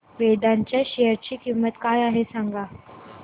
वेदांत च्या शेअर ची किंमत काय आहे सांगा